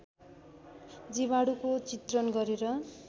जीवाणुको चित्रण गरेर